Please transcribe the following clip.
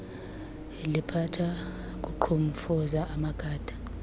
liphatha kuqhumfuza amagada